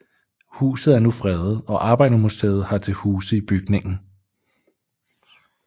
Huset er nu fredet og Arbejdermuseet har til huse i bygningen